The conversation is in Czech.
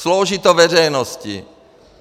Slouží to veřejnosti.